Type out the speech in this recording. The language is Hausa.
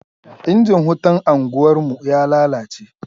Injin wutan anguwarmu ya lalace.